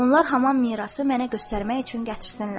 Onlar Haman mirası mənə göstərmək üçün gətirsinlər.